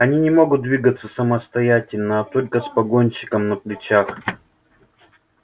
они не могут двигаться самостоятельно а только с погонщиком на плечах